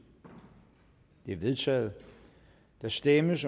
er vedtaget der stemmes